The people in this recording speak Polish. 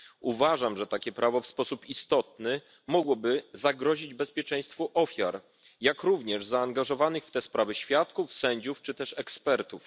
Uważam, że takie prawo w sposób istotny mogłoby zagrozić bezpieczeństwu ofiar, jak również zaangażowanych w te sprawy świadków, sędziów czy ekspertów.